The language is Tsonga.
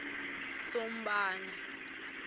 sombana